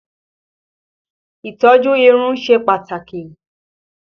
Ìtọ́jú irun ṣe pàtàkì